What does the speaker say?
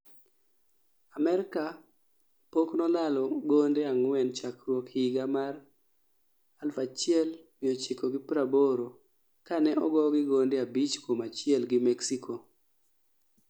Amerka pokno lalo gonde ang'wen chakruok higa ma r 1980 kane ogogi gonde 5-1 gi Mexico